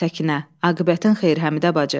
Səkinə, aqibətin xeyri Həmidə bacı.